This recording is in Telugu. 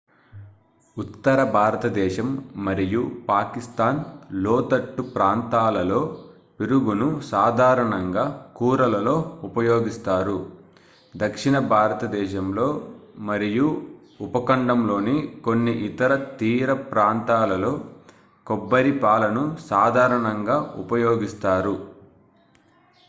ఉత్తర భారతదేశం మరియు పాకిస్తాన్ లోతట్టు ప్రాంతాలలో పెరుగును సాధారణంగా కూరలలో ఉపయోగిస్తారు దక్షిణ భారతదేశంలో మరియు ఉపఖండంలోని కొన్ని ఇతర తీర ప్రాంతాలలో కొబ్బరి పాలను సాధారణంగా ఉపయోగిస్తారు